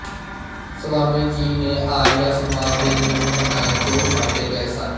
ਸਵਾਮੀ ਜੀ ਨੇ ਆਰੀਆ ਸਮਾਜ ਦੇ ਨਿਯਮ ਬਣਾਏ ਜੋ ਛਾਪੇ ਗਏ ਸਨ